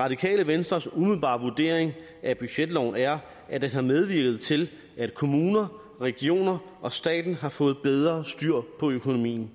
radikale venstres umiddelbare vurdering af budgetloven er at den har medvirket til at kommuner regioner og staten har fået bedre styr på økonomien